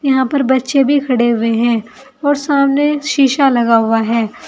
यहां पर बच्चे भी खड़े हुए हैं और सामने शीशा लगा हुआ है।